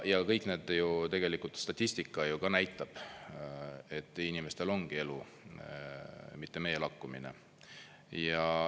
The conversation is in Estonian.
Ja kõik need ju … tegelikult statistika ju ka näitab, et inimestel ongi elu mitte meelakkumine.